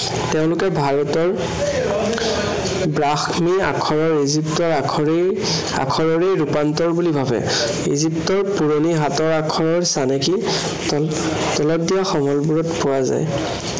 তেওঁলোকে ভাৰতৰ ব্ৰাহ্মী আখৰৰ ইজিপ্তৰ আখৰেই, আখৰৰ ৰূপান্তৰ বুলি ভাবে। ইজিপ্তৰ পুৰণি হাতৰ আখৰৰ চানেকি তল, তলত দিয়া সমলবোৰত পোৱা যায়।